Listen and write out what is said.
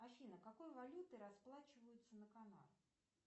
афина какой валютой расплачиваются на канарах